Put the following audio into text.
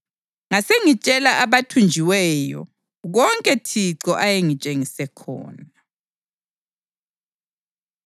ngasengitshela abathunjiweyo konke Thixo ayengitshengise khona.